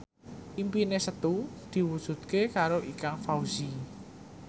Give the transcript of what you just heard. impine Setu diwujudke karo Ikang Fawzi